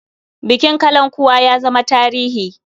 Bukin kalankuwa ya zama tarihi.